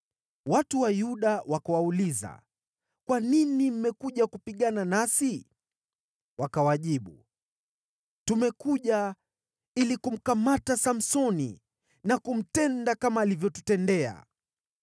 Watu wa Yuda wakawauliza, “Kwa nini mmekuja kupigana nasi?” Wakawajibu, “Tumekuja ili kumkamata Samsoni na kumtenda kama alivyotutendea.”